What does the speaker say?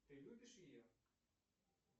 ты любишь ее